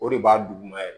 O de b'a duguma yɛrɛ